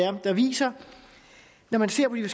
er der viser når man ser på de